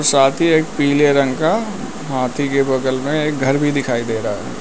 साथ ही एक पीले रंग का हाथी के बगल में घर भी दिखाई दे रहा है।